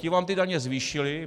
Ti vám ty daně zvýšili.